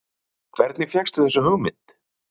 Helga Arnardóttir: Hvernig fékkstu þessa hugmynd?